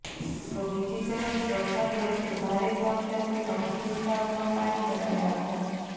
તો બીજી તરફ વરસાદ વચ્ચે ભારે ઝાપટાંથી અમુક વિસ્તારોમાં પાણી ભરાયા હતાં